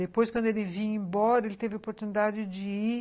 Depois, quando ele vinha embora, ele teve a oportunidade de ir